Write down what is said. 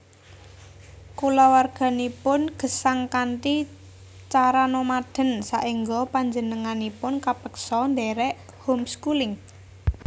Kulawarganipun gesang kanthi cara nomaden saéngga panjenenganipun kapeksa ndhèrèk home schooling